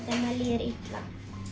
líður illa